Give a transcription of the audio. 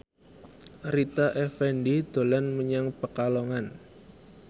Rita Effendy dolan menyang Pekalongan